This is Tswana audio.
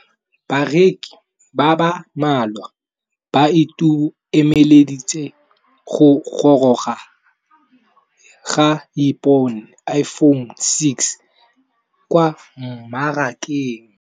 Bareki ba ba malwa ba ituemeletse go gôrôga ga Iphone6 kwa mmarakeng.